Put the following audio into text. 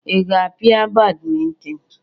Ị ga-apia badminton?